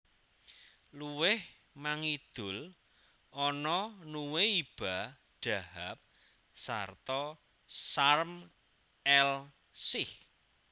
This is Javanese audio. Luwih mangidul ana Nuweiba Dahab sarta Sharm el Sheikh